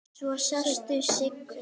Svo sástu Siggu.